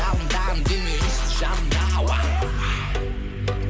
жалындаған денең үнсіз жанымда